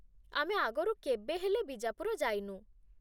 ଆମେ ଆଗରୁ କେବେ ହେଲେ ବିଜାପୁର ଯାଇନୁ ।